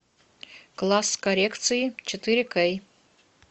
класс коррекции четыре кей